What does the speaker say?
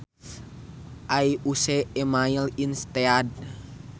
I use e mail instead